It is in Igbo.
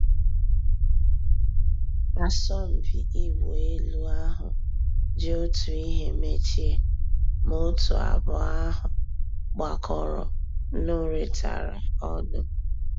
Àsọ̀mpị́ ị̀wụ́ èlú àhú́ jì Ótú ị́hé mèchíé, má ótú àbụ́ọ́ àhú́ gbàkọ́rọ́ nụ́rị́tàrá ọnụ́.